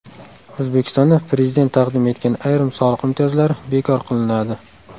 O‘zbekistonda Prezident taqdim etgan ayrim soliq imtiyozlari bekor qilinadi.